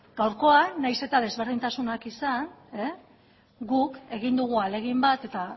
gaurkoan nahiz eta desberdintasunak izan guk egin dugu ahalegin bat eta